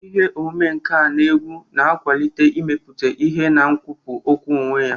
Ihe omume nka na egwu na-akwalite imeputa ihe na nkwupu okwu onwe ya.